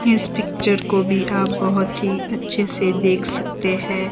इस पिक्चर को भी आप बहोत ही अच्छे से देख सकते है।